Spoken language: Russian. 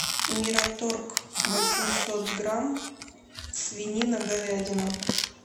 мираторг восемьсот грамм свинина говядина